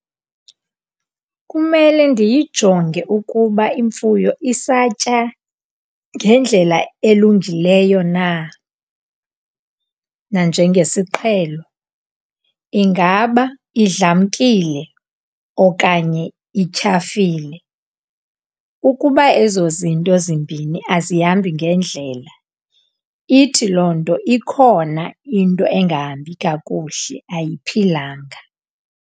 Kumele ndiyijonge ukuba imfuyo isatya ngendlela elungileyo na nanjengesiqhelo. Ingaba idlamkile okanye ityhafile? Ukuba ezo zinto zimbini azihambi ngendlela, ithi loo nto ikhona into engahambi kakuhle, ayiphilanga.